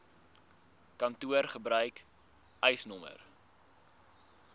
kantoor gebruik eisnr